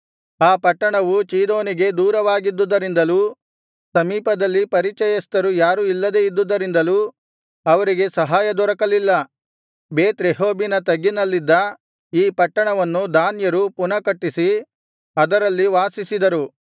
ಆ ಪಟ್ಟಣವು ಚೀದೋನಿಗೆ ದೂರವಾಗಿದ್ದುದರಿಂದಲೂ ಸಮೀಪದಲ್ಲಿ ಪರಿಚಯಸ್ಥರು ಯಾರು ಇಲ್ಲದೆ ಇದ್ದುದರಿಂದಲೂ ಅವರಿಗೆ ಸಹಾಯದೊರಕಲಿಲ್ಲ ಬೇತ್‌ರೆಹೋಬಿನ ತಗ್ಗಿನಲ್ಲಿದ್ದ ಈ ಪಟ್ಟಣವನ್ನು ದಾನ್ಯರು ಪುನಃ ಕಟ್ಟಿಸಿ ಅದರಲ್ಲಿ ವಾಸಿಸಿದರು